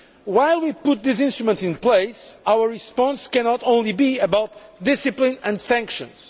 While we put these instruments in place, our response cannot be only about discipline and sanctions.